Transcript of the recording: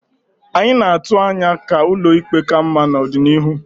Anyị na-atụ anya ka ụlọ ikpe ka mma n'ọdịnihu.